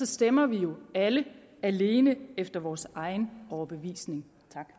stemmer vi jo alle alene efter vores egen overbevisning